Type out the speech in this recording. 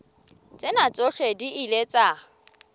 tsena tsohle di ile tsa